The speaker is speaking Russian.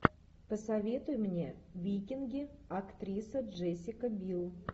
посоветуй мне викинги актриса джессика бил